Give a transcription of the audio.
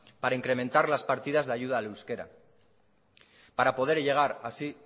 para incrementar las partidas de ayuda al euskera para poder llegar así